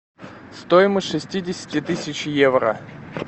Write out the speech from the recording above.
стоимость шестидесяти тысяч евро